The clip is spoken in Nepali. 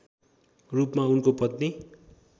रूपमा उनको पत्नी